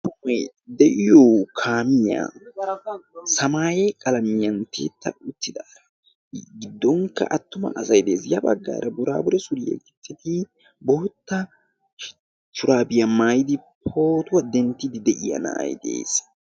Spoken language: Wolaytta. Amppule de'iyo kaamiyaa samaaye qalamiyan tiyetta uttida i gidonkka attuma asay de'ees. Ya baggaara burbure suuriyaa gixidi bootta shurabiya maayidi pootuwaa denddidi de'iyaa na'aay de'ees.